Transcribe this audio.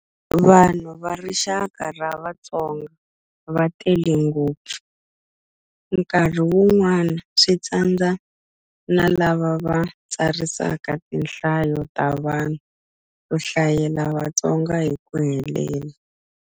Vanhu va rixaka ra Vatsonga va tele ngopfu, nkarhi wun'wana swi tsandza na lava va tsarisaka tinhlayo ta vanhu ku hlayela Vatsonga hi ku helela.